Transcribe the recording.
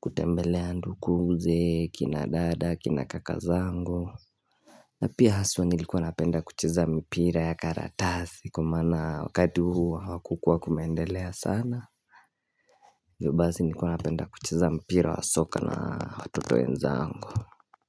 kutembelea ndukuze kina dada kina kaka zangu na pia haswa nilikuwa napenda kucheza mpira ya karatasi kwmaana wakati huu hawakukua kumeendelea sana ivyo basi nikuwa napenda kucheza mpira wa soka na watoto wenzangu.